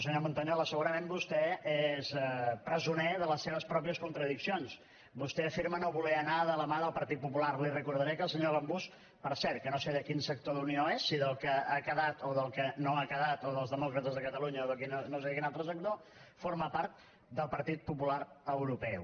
senyor montañola segurament vostè és presoner de les seves pròpies contradiccions vostè afirma no voler anar de la mà del partit popular li recordaré que el senyor gambús per cert que no sé de quin sector d’unió és si del que ha quedat o del que no ha quedat o dels demòcrates de catalunya o no sé de quin altre sector forma part del partit popular europeu